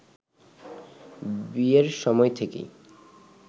বিয়ের সময় থেকেই